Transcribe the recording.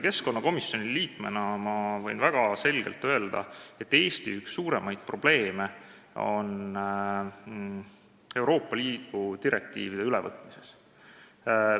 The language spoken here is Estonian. Keskkonnakomisjoni liikmena võin ma väga selgelt öelda, et Eesti üks suuremaid probleeme seisneb Euroopa Liidu direktiivide ülevõtmises.